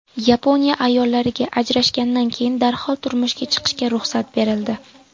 Yaponiya ayollariga ajrashgandan keyin darhol turmushga chiqishga ruxsat berildi.